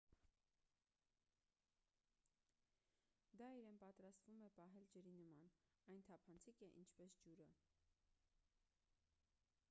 դա իրեն պատրաստվում է պահել ջրի նման այն թափանցիկ է ինչպես ջուրը